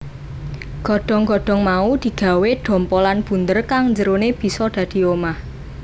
Godhong godhong mau digawé dhompolan bunder kang njerone bisa dadi omah